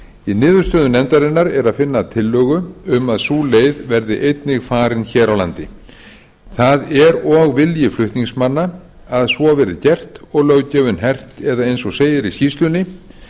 í niðurstöðum nefndarinnar er að finna tillögu um að sú leið verði einnig farin hér á landi það er og vilji flutningsmanna að svo verði gert og löggjöfin hert eða eins og segir í skýrslunni